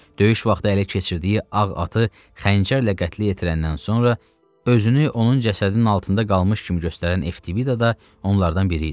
Döyüş vaxtı ələ keçirdiyi ağ atı xəncərlə qətlə yetirəndən sonra özünü onun cəsədinin altında qalmış kimi göstərən Eftibida da onlardan biri idi.